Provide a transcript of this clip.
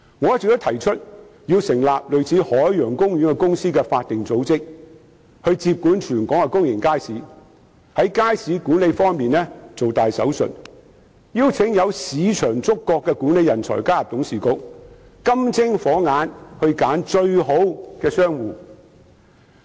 我一直建議成立一個類似海洋公園的法定組織，接管全港的公眾街市，在街市管理方面"做大手術"，邀請具有市場觸覺的管理人才加入董事局，以"金精火眼"挑選最好的商戶。